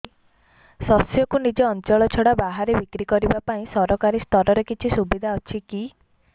ଶସ୍ୟକୁ ନିଜ ଅଞ୍ଚଳ ଛଡା ବାହାରେ ବିକ୍ରି କରିବା ପାଇଁ ସରକାରୀ ସ୍ତରରେ କିଛି ସୁବିଧା ଅଛି କି